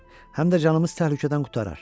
Həm də canımız təhlükədən qurtarar.